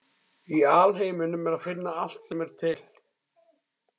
Í alheiminum er að finna allt sem er til.